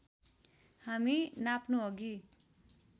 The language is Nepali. हामी नाप्नु अघि